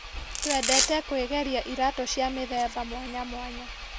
Twendete kwĩgeria iratũ cia mĩthemba mwanyamwanya.